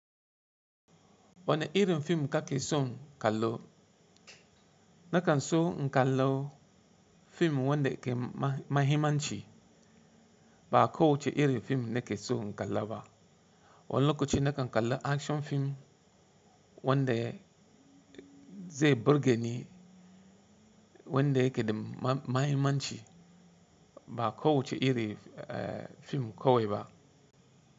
Wane irin fim kake son kallo? Nakan so na kalla fim wanda ke mahimmanci ba kowace irin fim nake so na kalla ba. Wani lokaci na kan kalla action fim wanda zai burge ni wanda yake da mahimmanci ba kowace irin fim kawai ba.